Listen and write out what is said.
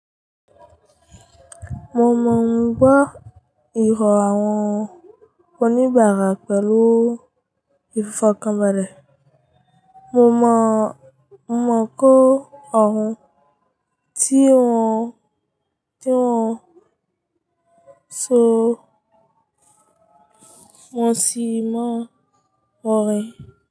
Mo máa n gbó ìrọ̀ àwọn oníbàárà pẹ̀lú ìfọ̀kànbalẹ̀. Mo mọ̀ kó ọrùn, ti tí wọ́n so, mo sì mọ ọ̀rẹ́.